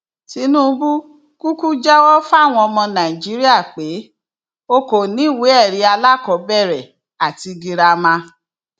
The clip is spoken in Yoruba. tinubu kúkú jẹwọ fáwọn ọmọ nàìjíríà pé o kò ní ìwéẹrí alákọọbẹrẹ àti girama